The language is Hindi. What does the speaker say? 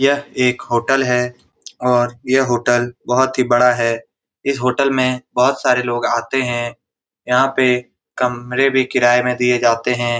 यह एक होटलें है होटल बहुत ही बड़ा है इस होटल में बहुत सारे लोग आते हैं यहाँ पे कमरे भी किराये में दिए जाते हैं ।